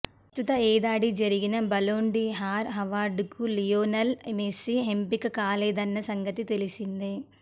ప్రస్తుత ఏడాది జరిగిన Ballon d'Or Lionel Messi ఎంపిక కాలేదన్న సంగతి తెలిసిందే